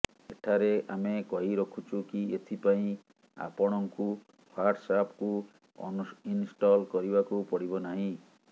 ଏଠାରେ ଆମେ କହି ରଖୁଛୁ କି ଏଥିପାଇଁ ଆପଣଙ୍କୁ ହ୍ୱାଟସଆପକୁ ଅନଇନଷ୍ଟଲ କରିବାକୁ ପଡିବ ନାହିଁ